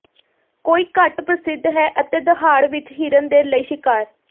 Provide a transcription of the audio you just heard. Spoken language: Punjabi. ਕੋਈ ਘੱਟ ਪ੍ਰਸਿੱਧ ਹੈ ਅਤੇ ਦਹਾੜ ਵਿਚ ਹਿਰਨ ਦੇ ਲਈ ਸ਼ਿਕਾਰ